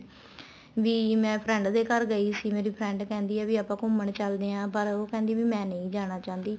ਵੀ ਮੈਂ friend ਦੇ ਘਰ ਗਈ ਸੀ ਮੇਰੀ friend ਕਹਿੰਦੀ ਆ ਵੀ ਆਪਾਂ ਘੁੰਮਣ ਚੱਲਦੇ ਹਾਂ ਪਰ ਉਹ ਕਹਿੰਦੀ ਮੈਂ ਨਹੀਂ ਜਾਣਾ ਚਾਹੁੰਦੀ